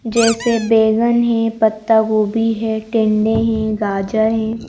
जैसे बेगन है पत्ता गोभी है टेंडे हैं गाजर हैं--